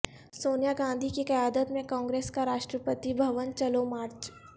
سونیا گاندھی کی قیادت میں کانگریس کا راشٹرپتی بھون چلو مارچ